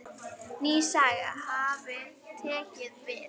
Ný saga hafi tekið við.